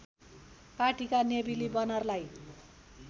पार्टीका नेविली बनरलाई